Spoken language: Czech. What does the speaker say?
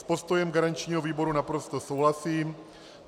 S postojem garančního výboru naprosto souhlasím.